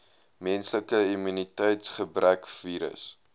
menslike immuniteitsgebrekvirus